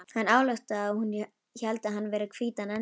Hann ályktaði að hún héldi hann vera hvítan engil.